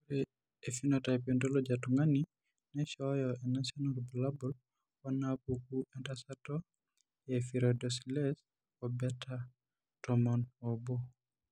Ore ephenotype ontology etung'ani neishooyo enasiana oorbulabul onaapuku entasato ehydroxylase ebeta tomon oobo?